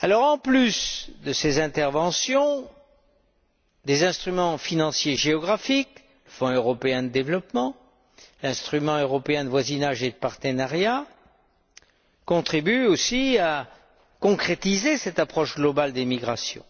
En plus de ces interventions, des instruments financiers géographiques, Fonds européen de développement, instruments européens de voisinage et de partenariat, contribuent aussi à concrétiser cette approche globale des migrations.